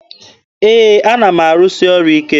Ee, ana m arụsị ọrụ ike.